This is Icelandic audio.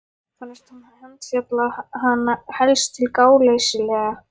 Fannst hún handfjatla hana helst til gáleysislega.